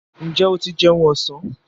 Ǹjẹ́ o ti jẹun ọ̀sán?